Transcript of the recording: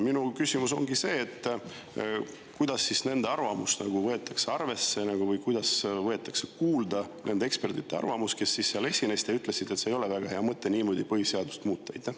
Minu küsimus ongi see, kuidas siis nende arvamust arvesse võetakse või kuidas võetakse kuulda nende ekspertide arvamust, kes seal esinesid ja ütlesid, et ei ole väga hea mõte niimoodi põhiseadust muuta.